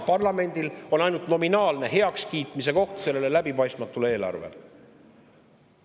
Parlamendil on ainult nominaalne see läbipaistmatu eelarve heaks kiita.